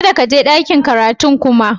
Kadda ka je ɗakin karatun kuma!